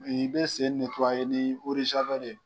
i bɛ sen ni ye.